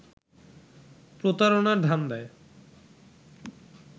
প্রতারণার ধান্দায়